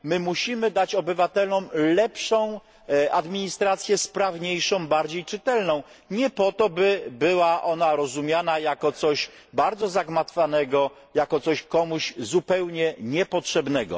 My musimy dać obywatelom lepszą administrację, sprawniejszą, bardziej czytelną, nie po to, by była ona rozumiana jako coś bardzo zagmatwanego, jak coś komuś zupełnie niepotrzebnego.